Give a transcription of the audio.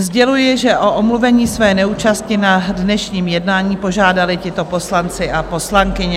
Sděluji, že o omluvení své neúčasti na dnešním jednání požádali tito poslanci a poslankyně.